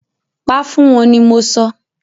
Pa fún wọ́n ni mọ sọ!